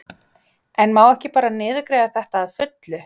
En má ekki bara niðurgreiða þetta að fullu?